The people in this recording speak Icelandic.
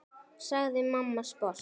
sagði mamma sposk.